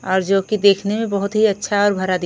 और जो कि देखने में बहुत ही अच्छा और भरा दिख--